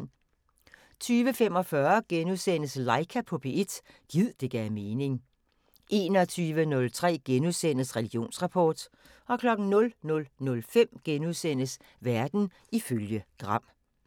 20:45: Laika på P1 – gid det gav mening * 21:03: Religionsrapport * 00:05: Verden ifølge Gram *